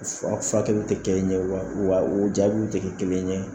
fu furakɛliw tɛ kɛ ɲɛ wa wa o jaabiw tɛ kɛ kelen ye.